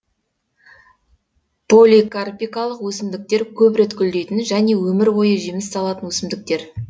поликарпикалық өсімдіктер көп рет гүлдейтін және өмір бойы жеміс салатын өсімдіктер